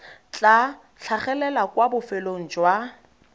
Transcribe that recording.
tla tlhagelela kwa bofelong jwa